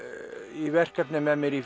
í verkefni með mér í